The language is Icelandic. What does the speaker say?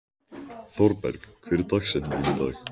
Thorberg, hver er dagsetningin í dag?